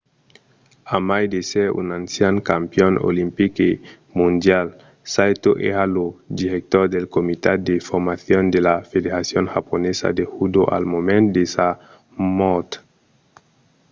a mai d'èsser un ancian campion olimpic e mondial saito èra lo director del comitat de formacion de la federacion japonesa de judo al moment de sa mòrt